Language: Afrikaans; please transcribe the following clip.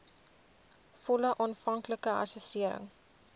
volle aanvanklike assessering